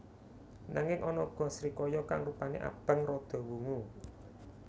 Nanging ana uga srikaya kang rupané abang rada wungu